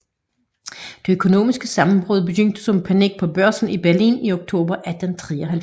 Det økonomiske sammenbrud begyndte som panik på børsen i Berlin i oktober 1873